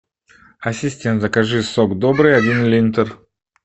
ассистент закажи сок добрый один литр